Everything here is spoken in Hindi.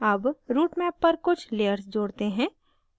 add routemap पर कुछ layers जोड़ते हैं